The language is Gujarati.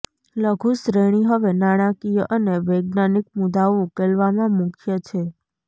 લઘુ શ્રેણી હવે નાણાકીય અને વૈજ્ઞાનિક મુદ્દાઓ ઉકેલવામાં મુખ્ય છે